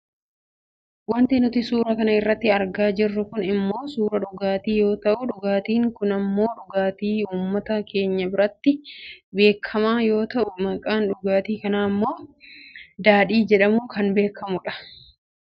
Wanti nuti suura kana irratti argaa jirru kun ammoo suuraa dhugaatii yoo ta'u dhugaatiin kun ammoo dhugaatii uummata keenya biratti beekkamaa yoo ta'u maqaan dhugaatii kanaa ammoo daadhii jedhamuun beekkama.